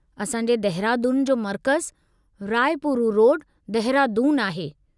असां जे दहिरादून जो मरकज़ु राइ पूरु रोड, दहिरादून आहे।